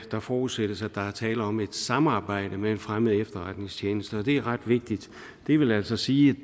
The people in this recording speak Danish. der forudsættes at der er tale om et samarbejde med en fremmed efterretningstjeneste og det er ret vigtigt det vil altså sige